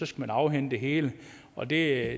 skullet afhænde det hele og det er